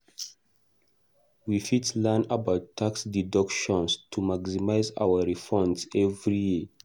We fit learn about tax deductions to maximize our refunds every year.